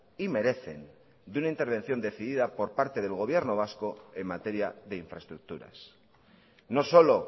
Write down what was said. y merecen de una intervención decidida por parte del gobierno vasco en materia de infraestructuras no solo